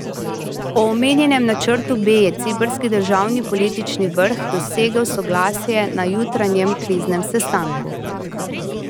O omenjenem načrtu B je ciprski državni politični vrh dosegel soglasje na jutranjem kriznem sestanku.